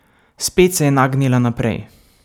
Spet se je nagnila naprej.